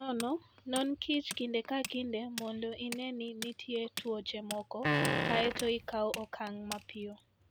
Nono: Non kich kinde ka kinde mondo ine ni nitie tuoche moko, kae to ikaw okang' mapiyo.